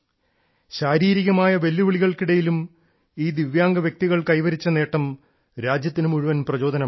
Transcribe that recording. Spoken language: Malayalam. ശാരീരിക വെല്ലുവിളികൾക്കിടയിലും ഈ ദിവ്യാംഗ വ്യക്തികൾ കൈവരിച്ച നേട്ടം രാജ്യത്തിന് മുഴുവൻ പ്രചോദനമാണ്